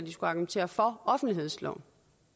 argumentere for offentlighedsloven